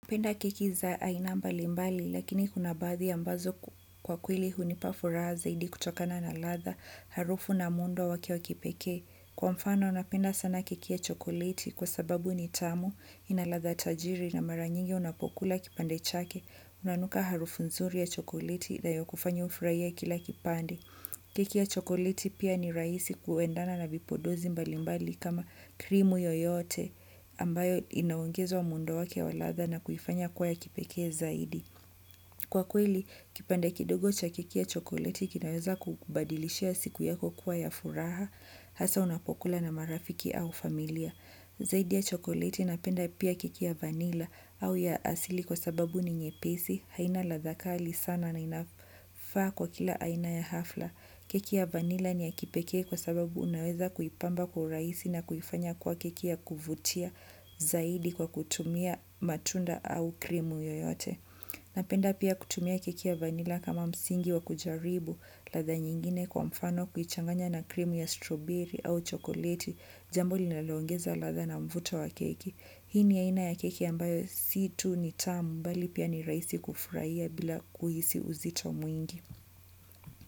Penda keki za aina mbalimbali lakini kuna baadhi ambazo kwa kweli hunipa furaha zaidi kutokana na ladha harufu na muundo wake wa kipekee. Kwa mfano napenda sana keki ya chokoleti kwa sababu ni tamu ina ladha tajiri na mara nyingi unapokula kipande chake. Unanuka harufu nzuri ya chokoleti inayokufanya ufurahie kila kipande. Keki ya chokoleti pia ni rahisi kuendana na vipodozi mbalimbali kama krimu yoyote ambayo inaongezwa muundo wake wa ladha na kuifanya kuwa ya kipekee zaidi. Kwa kweli, kipande kidogo cha keki ya chokoleti kinaweza kukubadilishia siku yako kuwa ya furaha, hasa unapokula na marafiki au familia. Zaidi ya chokoleti napenda pia keki ya vanilla au ya asili kwa sababu ni nyepesi haina ladha kali sana na inafaa kwa kila aina ya hafla. Keki ya vanilla ni ya kipekee kwa sababu unaweza kuipamba kwa urahisi na kuifanya kuwa keki ya kuvutia zaidi kwa kutumia matunda au krimu yoyote. Napenda pia kutumia keki ya vanila kama msingi wa kujaribu ladha nyingine kwa mfano kuichanganya na krimu ya stroberi au chokoleti jambo linalongeza ladha na mvuto wa keki. Hii ni aina ya keki ambayo si tu ni tamu bali pia ni rahisi kufurahia bila kuhisi uzito mwingi.